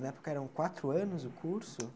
Na época eram quatro anos o curso?